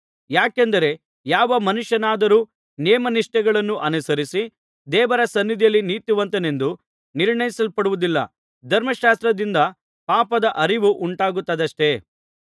ಯಾಕೆಂದರೆ ಯಾವ ಮನುಷ್ಯನಾದರೂ ನೇಮನಿಷ್ಠೆಗಳನ್ನು ಅನುಸರಿಸಿ ದೇವರ ಸನ್ನಿಧಿಯಲ್ಲಿ ನೀತಿವಂತನೆಂದು ನಿರ್ಣಯಿಸಲ್ಪಡುವುದಿಲ್ಲ ಧರ್ಮಶಾಸ್ತ್ರದಿಂದ ಪಾಪದ ಅರಿವು ಉಂಟಾಗುತ್ತದಷ್ಟೆ